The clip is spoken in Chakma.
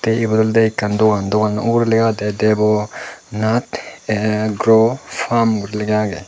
te ebot olodey ekkan dogan doganno ugurey lega agedey debo nat grow farm guri lega agey.